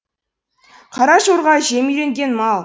қара жорға жемге үйренген мал